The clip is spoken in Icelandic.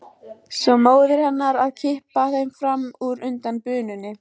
Svo móðir hennar að kippa þeim fram úr undan bununni.